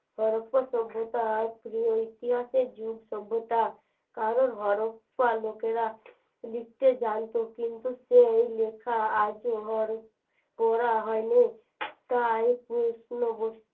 সভ্যতা ইতিহাসে যুগ সভ্যতা কারণ লোকেরা লিখতে জানতো কিন্তু সেই লেখা আজও হয়নি